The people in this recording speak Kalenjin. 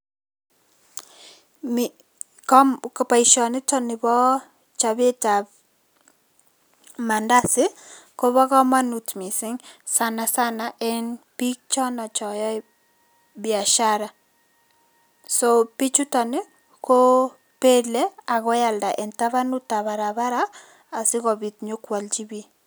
Boisionito bo chopetab maandazi kobo kamanut mising sanasana eng biik chono choyoe biashara, so bichuto kobele ako koalda eng tandab barabara asikopit nyokwolchi biik.